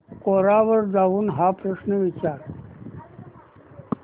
कोरा वर जाऊन हा प्रश्न विचार